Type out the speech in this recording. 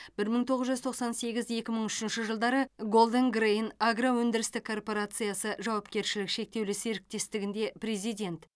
бір мың тоғыз жүз тоқсан сегіз екі мың үшінші жылдары голден грэйн агроөндірістік корпорациясы жауапкершілігі шектеулі серіктестігінде президент